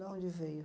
Da onde veio?